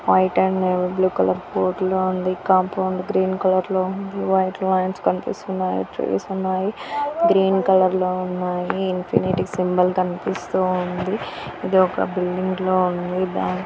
White and navy blue colour board లో ఉంది. Compound green colour లో ఉంది. వైట్ లైన్స్ కన్పిస్తున్నాయి. గ్రీన్ కలర్ లో ఉన్నాయి. ఇన్ఫినిటీ సింబల్ కన్పిస్తూ ఉంది. ఇది ఒక బిల్డింగ్ లో ఉంది .